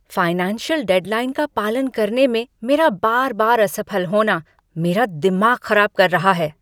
Financial deadline का पालन करने में मेरा बार बार असफल होना मेरा दिमाग खराब कर रहा है।